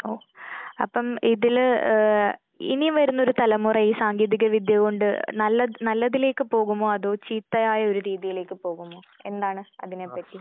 അപ്പൊ അപ്പം ഇതില് ഏഹ് ഇനി വരുന്ന ഒരു തലമുറ ഈ സാങ്കേതിക വിദ്യ കൊണ്ട് നല്ല നല്ലതിലേക്ക് പോകുമോ അതോ ചീത്തയായ ഒരു രീതിയിലേക്ക് പോകുമോ? എന്താണ് അതിനെ പറ്റി?